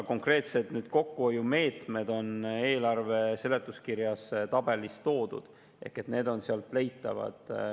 Konkreetsed kokkuhoiumeetmed on eelarve seletuskirjas tabelis toodud, need on sealt leitavad.